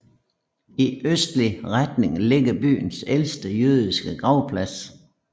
I østlig retning ligger byens ældste jødiske gravplads